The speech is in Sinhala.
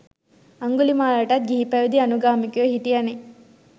අංගුලිමාලටත් ගිහිපැවදි අනුගාමිකයො හිටියනෙ.